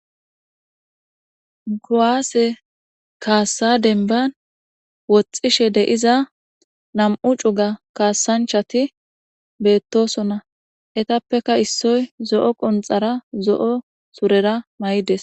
kuwase kaassa demban woxxishe deyiza nam7u cuga kaassanchati beettosona etappeka issoy zo7o qonxara zo7o surera may7ides.